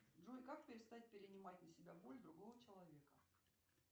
джой как перестать перенимать на себя боль другого человека